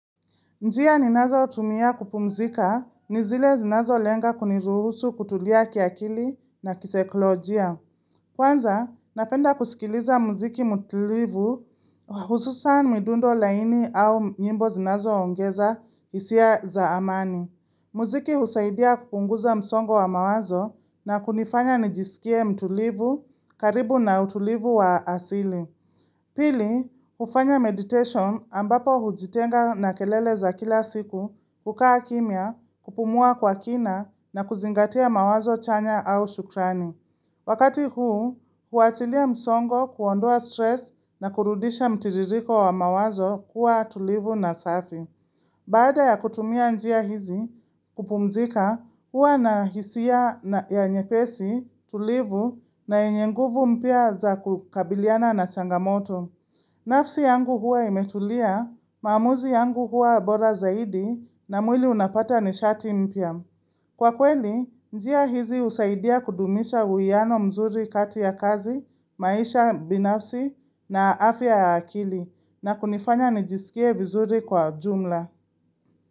Njia ninazotumia kupumzika, ni zile zinazo lenga kuniruhusu kutulia kiakili na kisaikolojia. Kwanza, napenda kusikiliza muziki mtulivu, hususan midundo laini au nyimbo zinazoongeza hisia za amani. Muziki husaidia kupunguza msongo wa mawazo na kunifanya nijisikie mtulivu karibu na utulivu wa asili. Pili, hufanya meditation ambapo hujitenga na kelele za kila siku, ukaa kimya, kupumua kwa kina, na kuzingatia mawazo chanya au shukrani. Wakati huu, huachilia msongo kuondoa stress na kurudisha mtiririko wa mawazo kuwa tulivu na safi. Baada ya kutumia njia hizi, kupumzika, huwa na hisia nyepesi, tulivu na yenye nguvu mpya za kukabiliana na changamoto. Nafsi yangu huwa imetulia, maamuzi yangu huwa bora zaidi na mwili unapata nishati mpya. Kwa kweli, njia hizi husaidia kudumisha uwiano mzuri katia kazi, maisha binafsi, na afya akili na kunifanya nijisikie vizuri kwa jumla.